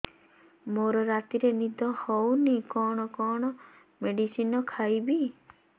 ମୋର ରାତିରେ ନିଦ ହଉନି କଣ କଣ ମେଡିସିନ ଖାଇବି